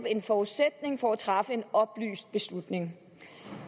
en forudsætning for at træffe en oplyst beslutning